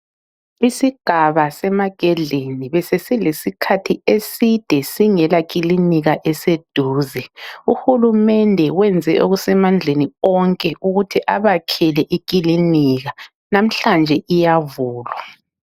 Isigaba seMagadleni besesilesikhathi eside singela kilinika eseduze. UHulumende wenze okusemandleni wonke ukuthi abakhele ikilinika. Namhlanje iyavulwa.